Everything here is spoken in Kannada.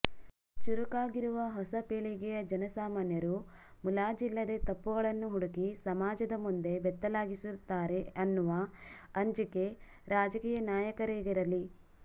ಚುರು ಕಾಗಿರುವ ಹೊಸ ಪೀಳಿಗೆಯ ಜನಸಾಮಾನ್ಯರು ಮುಲಾಜಿಲ್ಲದೇ ತಪ್ಪುಗಳನ್ನು ಹುಡುಕಿ ಸಮಾಜದ ಮುಂದೆ ಬೆತ್ತಲಾಗಿಸುತ್ತಾರೆ ಅನ್ನುವ ಅಂಜಿಕೆ ರಾಜಕೀಯ ನಾಯಕರಿಗಿರಲಿ